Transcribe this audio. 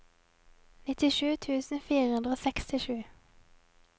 nittisju tusen fire hundre og sekstisju